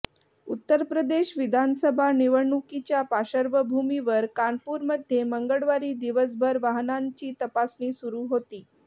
उत्तर प्रदेश विधानसभा निवडणुकीच्या पार्श्वभूमीवर कानपूरमध्ये मंगळवारी दिवसभर वाहनांची तपासणी सुरु होती